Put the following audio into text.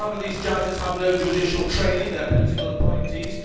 Some of these judges have no judicial training they are political appointees.